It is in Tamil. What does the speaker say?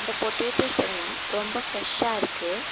இந்த பொட்டேட்டோஸ் எல்லா ரொம்ப ஃபிரெஷ்ஷா இருக்கு.